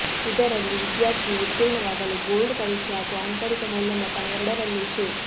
ಇದರಲ್ಲಿ ವಿದ್ಯಾರ್ಥಿಯು ಉತ್ತೀರ್ಣವಾಗಲು ಬೋರ್ಡ್ ಪರೀಕ್ಷೆ ಹಾಗೂ ಆಂತರಿಕ ಮೌಲ್ಯಮಾಪನ ಎರಡರಲ್ಲೂ ಶೇ